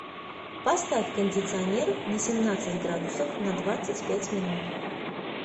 поставь кондиционер на семнадцать градусов на двадцать пять минут